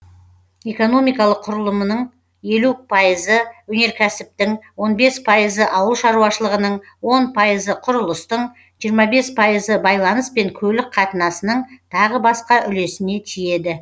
экономикалық құрылымының елу пайызы өнеркәсіптің он бес пайызы ауыл шаруашылығының он пайызы құрылыстың жиырма бес пайызы байланыс пен көлік қатынасының тағы басқа үлесіне тиеді